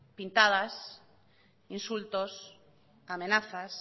pintadas insultos amenazas